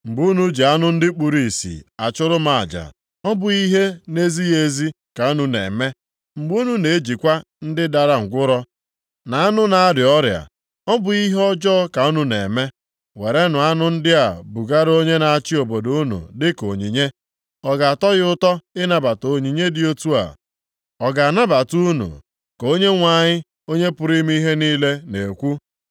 Mgbe unu ji anụ ndị kpuru ìsì achụrụ m aja, ọ bụghị ihe na-ezighị ezi ka unu na-eme? Mgbe unu na-ejikwa ndị dara ngwụrọ, na anụ na-arịa ọrịa, ọ bụghị ihe ọjọọ ka unu na-eme? Werenụ anụ ndị a bugara onye na-achị obodo unu dịka onyinye. Ọ ga-atọ ya ụtọ ịnabata onyinye dị otu a? Ọ ga-anabata unu?” Ka Onyenwe anyị, Onye pụrụ ime ihe niile na-ekwu.